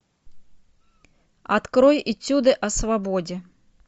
открой этюды о свободе